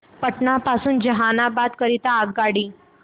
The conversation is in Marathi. पटना पासून जहानाबाद करीता आगगाडी